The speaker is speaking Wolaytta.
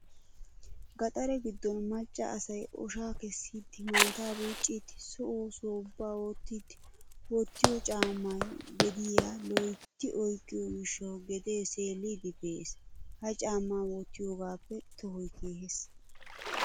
Gaxare giddon macca asay oshaa kessiiddi maataa buucciiddi so oosuwaa ubba oottiiddi wottiyo caammay gediyaa loyytti oyqqiyoo gishshawu gedee seelliiddi pee"es. Ha caamma wottiyoogaappe tohoy keehes.